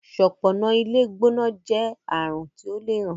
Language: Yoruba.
ṣọpọnna ilé gbóná jé àrùn ti ọ lẹ rán.